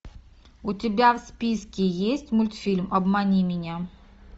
у тебя в списке есть мультфильм обмани меня